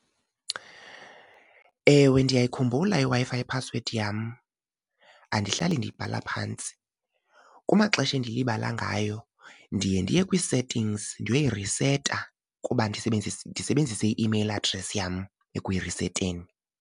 Ewe, ndiyayikhumbula iWi-Fi ye-password yam, andihlali ndiyibhala phantsi. Kumaxesha endilibala ngayo ndiye ndiye kwii-settings ndiyoyiriseta kuba ndisebenzise i-email adress yam ekuyiriseteni.